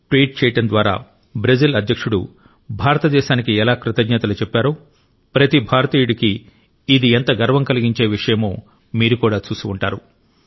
tweet చేయడం ద్వారా Brazil అధ్యక్షుడు భారతదేశానికి ఎలా కృతజ్ఞతలు చెప్పారో ప్రతి భారతీయుడికి ఇది ఎంత గర్వం కలిగించే విషయమో మీరు కూడా చూసి ఉంటారు